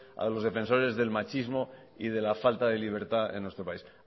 a los defensores del machismo y de la falta de libertad en nuestro país